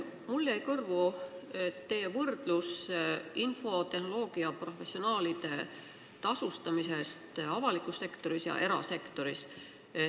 Mulle jäi kõrvu teie võrdlus infotehnoloogia professionaalide tasustamisest avalikus sektoris ja erasektoris.